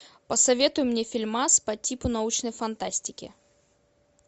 посоветуй мне фильмас по типу научной фантастики